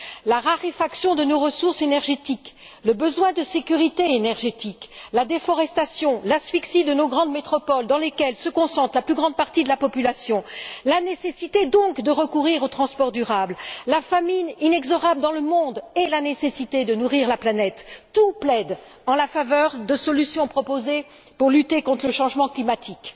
La raréfaction de nos ressources énergétiques, le besoin de sécurité énergétique, la déforestation, l'asphyxie de nos grandes métropoles, dans lesquelles se concentre la plus grande partie de la population, la nécessité, donc, de recourir aux transports durables, la famine inexorable dans le monde et la nécessité de nourrir la planète, tout plaide en faveur des solutions proposées pour lutter contre le changement climatique.